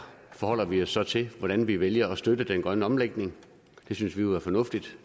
forholder vi os så til hvordan vi vælger at støtte den grønne omlægning det synes vi jo er fornuftigt